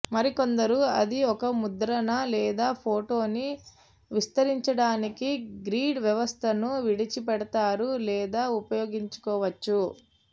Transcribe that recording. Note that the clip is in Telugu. మరికొందరు అది ఒక ముద్రణ లేదా ఫోటోని విస్తరించడానికి గ్రిడ్ వ్యవస్థను విడిచిపెడతారు లేదా ఉపయోగించుకోవచ్చు